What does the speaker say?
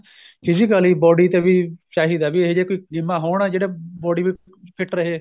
physically body ਤੇ ਵੀ ਚਾਹੀਦਾ ਵੀ ਇਹ ਜੇ ਵੀ ਕੋਈ ਗੇਮਾ ਹੋਣ ਜਿਹੜਾ body fit ਰਹੇ